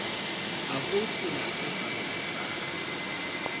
ha ho tsela tse paroletsang